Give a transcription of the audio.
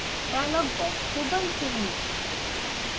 dialogue box को बंद करें